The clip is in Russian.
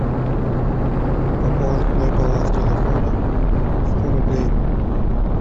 пополнить мой баланс телефона сто рублей